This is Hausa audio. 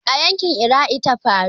A yanƙin Iraqi ta faru.